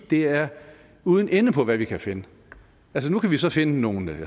det er uden ende hvad vi kan finde nu kan vi så finde nogle